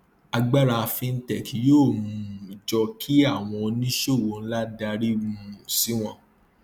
agbára fintech yóò um jọ kí àwọn oníṣòwò ńlá darí um si wọn